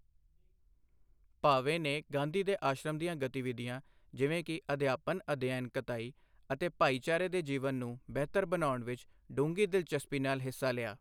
ਭਾਵੇ ਨੇ ਗਾਂਧੀ ਦੇ ਆਸ਼ਰਮ ਦੀਆਂ ਗਤੀਵਿਧੀਆਂ ਜਿਵੇਂ ਕਿ ਅਧਿਆਪਨ ਅਧਿਐਨ ਕਤਾਈ ਅਤੇ ਭਾਈਚਾਰੇ ਦੇ ਜੀਵਨ ਨੂੰ ਬਿਹਤਰ ਬਣਾਉਣ ਵਿੱਚ ਡੂੰਘੀ ਦਿਲਚਸਪੀ ਨਾਲ ਹਿੱਸਾ ਲਿਆ।